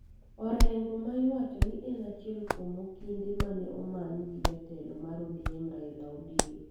Orengo, ma iwacho ni en achiel kuom okinde mane omany gi jatelo mar ODM, Raila Odinga